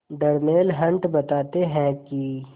Darnell Hunt बताते हैं कि